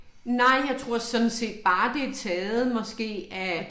Nej jeg tror sådan set bare det er taget måske af